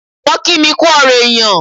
Wọ́n kí mi kú ọ̀rọ̀ èyàn.